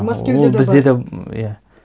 мәскеуде де бар ол бізде де иә